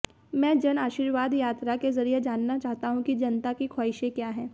मैं जनआशिर्वाद यात्रा के जरिए जानना चाहता हूं कि जनता की ख्वाहिशें क्या हैं